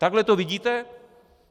Takhle to vidíte?